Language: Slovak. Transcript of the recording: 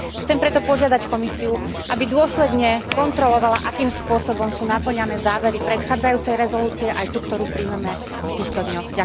Chcem preto požiadať Komisiu, aby dôsledne kontrolovala, akým spôsobom sú napĺňané závery predchádzajúcej rezolúcie, aj tej, ktorú prijmeme v týchto dňoch.